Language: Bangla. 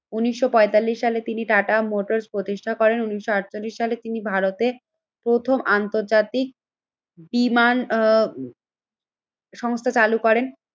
উন্নিশশো পঁয়তাল্লিশ সালে তিনি টাটা মোটোর্স্ প্রতিষ্ঠা করেন উন্নিশশো আটচল্লিশ সালে তিনি ভারতে প্রথম আন্তর্জাতিক বিমান সংস্থা চালু করেন।